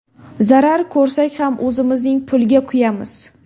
Zarar ko‘rsak ham o‘zimizning pulga kuyamiz.